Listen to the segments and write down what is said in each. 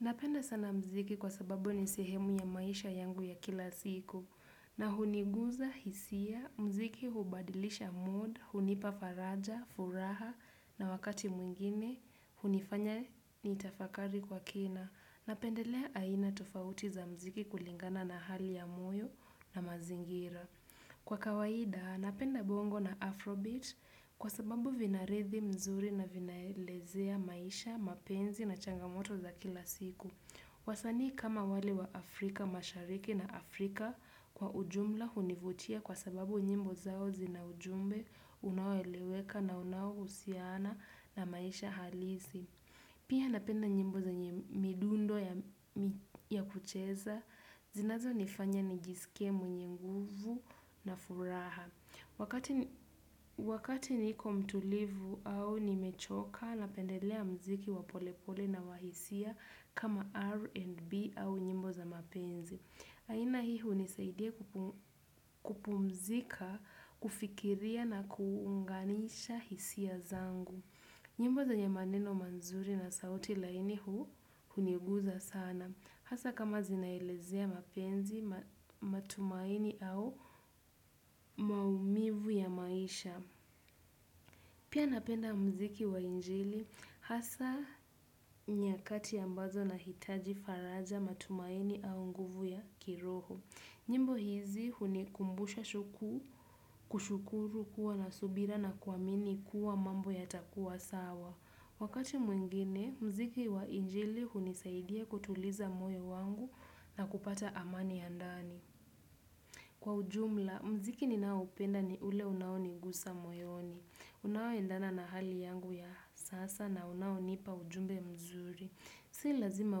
Napenda sana mziki kwa sababu ni sehemu ya maisha yangu ya kila siku na huniguza hisia, mziki hubadilisha mood, hunipa faraja, furaha na wakati mwingine, hunifanya niitafakari kwa kina. Napendelea aina tofauti za mziki kulingana na hali ya moyo na mazingira. Kwa kawaida, napenda bongo na Afrobit kwa sababu vinarithi mzuri na vinaelezea maisha, mapenzi na changamoto za kila siku. Wasani kama wale wa Afrika mashariki na Afrika kwa ujumla hunivutia kwa sababu nyimbo zao zina ujumbe, unaoeleweka na unaohusiana na maisha halisi. Pia napenda nyimbo zenye midundo ya kucheza, zinazonifanya nijisike mwenye nguvu na furaha. Wakati niko mtulivu au nimechoka, napendelea mziki wa polepole na wa hisia kama R&B au nyimbo za mapenzi. Aina hii hunisaidia kupumzika, kufikiria na kuunganisha hisia zangu. Nyimbo zenye maneno manzuri na sauti laini huu huniguza sana. Hasa kama zinaelezea mapenzi, matumaini au maumivu ya maisha. Pia napenda mziki wa injili. Hasa nyakati ambazo nahitaji faraja matumaini au nguvu ya kiroho. Nyimbo hizi hunikumbusha kushukuru kuwa na subira na kuamini kuwa mambo yatakuwa sawa. Wakati mwingine, mziki wa injili hunisaidia kutuliza moyo wangu na kupata amani ya ndani. Kwa ujumla, mziki ninaoupenda ni ule unao nigusa moyoni. Unaoendana na hali yangu ya sasa na unaonipa ujumbe mzuri. Si lazima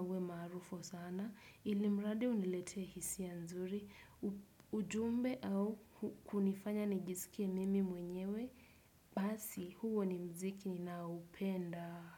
uwe mqarufu sana, ilimradi unilete hisia nzuri, ujumbe au kunifanya nijisikie mimi mwenyewe, basi huo ni mziki ninaoupenda.